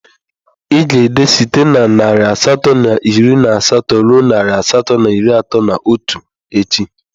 Ị ga-ede site na narị asatọ na iri na asatọ ruo narị asatọ na iri atọ na otu echi!